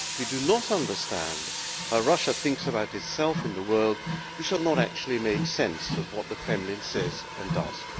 If we do not understand how Russia thinks about itself in the world, we shall not actually make sense of what the Kremlin says and does.